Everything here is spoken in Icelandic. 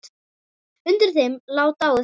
Undir þeim lá dáið fólk.